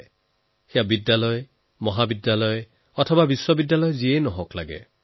লাগে সেয়া স্কুলেই হওক কলেজেই হওক বা ইউনিভাৰছিটী